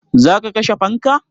Za ka kashe fanka?